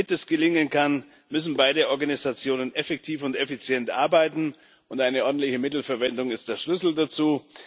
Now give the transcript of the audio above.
Damit das gelingen kann, müssen beide Organisationen effektiv und effizient arbeiten, und eine ordentliche Mittelverwendung ist der Schlüssel dazu.